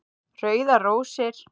Rauðar rósir